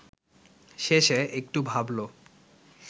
শেষে একটু ভাবল